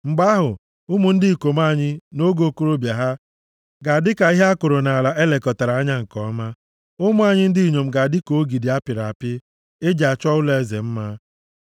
Mgbe ahụ, ụmụ ndị ikom anyị, nʼoge okorobịa ha, ga-adị ka ihe a kụrụ nʼala e lekọtara anya nke ọma, ụmụ anyị ndị inyom ga-adị ka ogidi a pịrị apị e ji achọ ụlọeze mma.